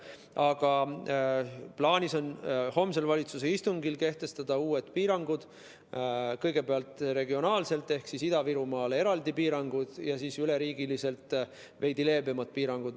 Aga plaanis on homsel valitsuse istungil kehtestada uued piirangud, kõigepealt regionaalselt ehk Ida-Virumaale eraldi piirangud ja siis üle riigi veidi leebemad piirangud.